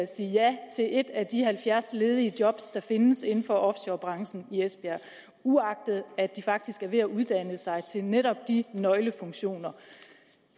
sige ja til et af de halvfjerds ledige job der findes inden for offshorebranchen i esbjerg uagtet at de faktisk er ved at uddanne sig til netop de nøglefunktioner